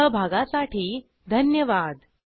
सहभागासाठी धन्यवाद